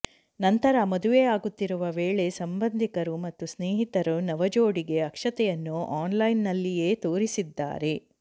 ನಂತರ ಮದುವೆಯಾಗುತ್ತಿರುವ ವೇಳೆ ಸಂಬಂಧಿಕರು ಮತ್ತು ಸ್ನೇಹಿತರು ನವಜೋಡಿಗೆ ಅಕ್ಷತೆಯನ್ನು ಆನ್ಲೈನ್ನಲ್ಲಿಯೇ ತೋರಿಸಿದ್ದಾರೆ